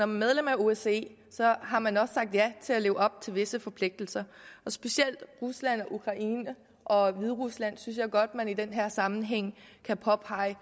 medlem af osce har man også sagt ja til at leve op til visse forpligtelser specielt rusland ukraine og hviderusland synes jeg godt man i den her sammenhæng kan påpege